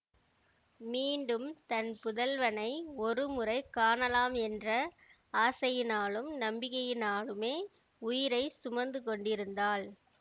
மீண்டும் தன் புதல்வனை ஒரு முறை காணலாம் என்ற ஆசையினாலும் நம்பிக்கையினாலுமே உயிரைச் சுமந்து கொண்டிருந்தாள்